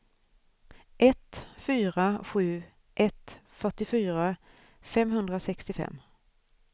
ett fyra sju ett fyrtiofyra femhundrasextiofem